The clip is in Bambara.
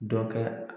Dɔ kɛ